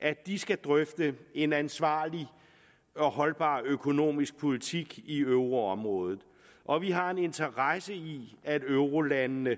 at de skal drøfte en ansvarlig og holdbar økonomisk politik i euroområdet og vi har en interesse i at eurolandene